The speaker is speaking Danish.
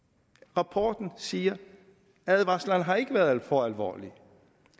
at rapporten siger nej advarslerne har ikke været for alvorlige